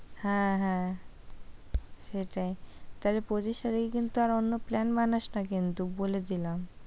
হ্যাঁ, হ্যাঁ সেটাই তাহলে পঁচিশ তারিখে কিন্তু আর অন্য plan বানাস না কিন্তু বলে দিলাম।